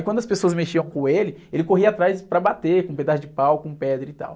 Quando as pessoas mexiam com ele, ele corria atrás para bater com pedaço de pau, com pedra e tal.